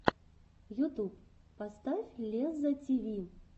ютуб поставь лезза тиви